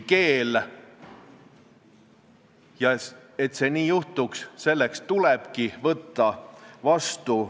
Mingilgi määral ei muudaks see keeleõppe järjekordi pikemaks ega lühemaks ja mitte mingilgi moel ei õigustaks see õigusrikkumist.